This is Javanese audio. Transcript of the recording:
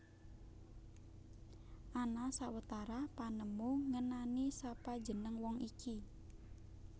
Ana sawetara panemu ngenani sapa jeneng wong iki